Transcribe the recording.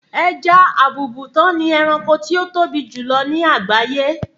ẹja àbùùbùtán ni ẹranko tí ó tóbi jù lọ ní àgbáyé